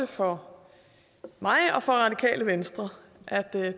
for mig og for radikale venstre at der